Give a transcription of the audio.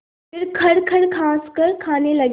फिर खरखर खाँसकर खाने लगे